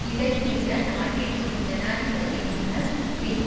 இதன் பின்னர் நாட்டிற்குள் ஜனாதிபதியான பின்